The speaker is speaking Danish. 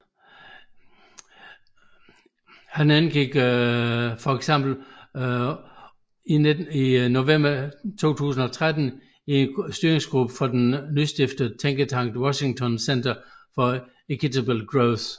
Han indgik eksempelvis i november 2013 i styringsgruppen for den nystiftede tænketank Washington Center for Equitable Growth